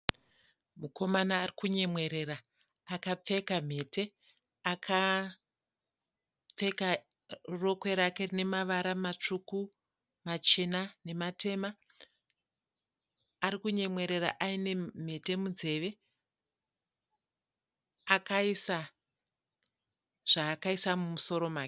Mukomana arikunyemwerera akapfeka mhete. Akapfeka rokwe rake rine mavara matsvuku, machena nematema. Arikunyemwerera aine mhete munzeve, akaisa zvaakaisa mumusoro make.